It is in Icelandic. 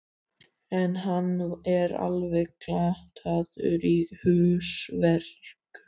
En hann er alveg glataður í húsverkum.